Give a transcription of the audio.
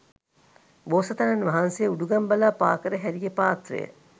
බෝසතාණන් වහන්සේ උඩුගං බලා පා කර හැරිය පාත්‍රය,